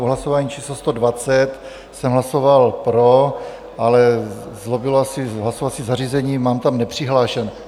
U hlasování číslo 120 jsem hlasoval pro, ale zlobilo asi hlasovací zařízení, mám tam nepřihlášen.